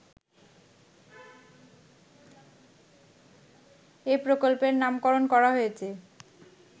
এই প্রকল্পের নামকরণ করা হয়েছে